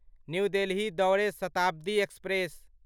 new Delhi दौड़ै Shatabdi express